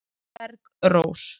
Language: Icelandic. Bergrós